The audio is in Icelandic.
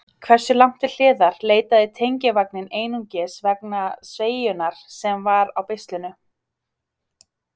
Hversu langt til hliðar leitaði tengivagninn einungis vegna sveigjunnar sem var á beislinu?